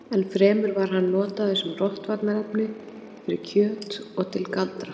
enn fremur var hann notaður sem rotvarnarefni fyrir kjöt og til galdra